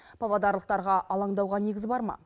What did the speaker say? павлодарлықтарға алаңдауға негіз бар ма